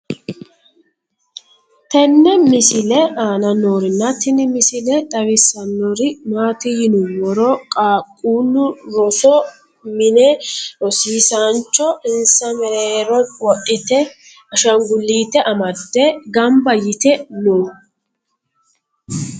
tenne misile aana noorina tini misile xawissannori maati yinummoro qaaqqullu rosu minne rosiisancho insa meereroho wodhitte ashangulitte amade ganbba yiitte noo